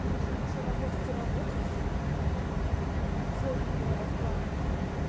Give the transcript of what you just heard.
конечно мне ещё работать и работать условно говоря в плане